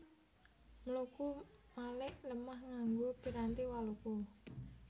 Mluku malik lemah nganggo piranti waluku